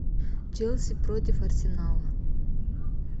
челси против арсенала